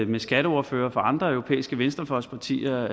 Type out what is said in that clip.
med skatteordførere fra andre europæiske venstrefløjspartier